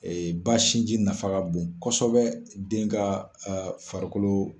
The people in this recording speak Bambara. ba sinji nafa ka bon kosɛbɛ den ka farikolo.